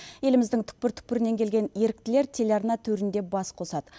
еліміздің түкпір түкпірінен келген еріктілер телеарна төрінде бас қосады